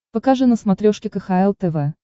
покажи на смотрешке кхл тв